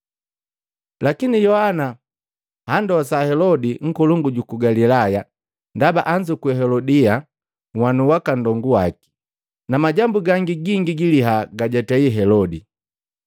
Lakini Yohana andosa Helodi nkolongu juku ku Galilaya, ndaba anzukwi Helodia, nhwanu waka nndongu waki, na majambu gangi gingi giliha gajatei Helodi.